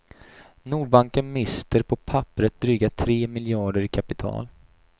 Nordbanken mister på papperet dryga tre miljarder i kapital.